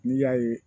N'i y'a ye